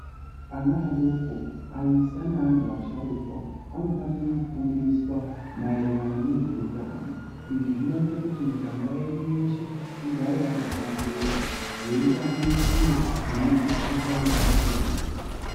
Ana adoko aisa neantu asharukwa anofanire kufundiswa maererano nezveutano izvi zvinoita kuti muganga yedu yeshe igare yakahlamburuka yeitambire kure nemukhuhlqbi yakasiyana siyana.